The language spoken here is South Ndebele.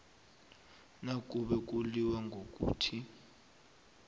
nakube kulilwa ngokuthi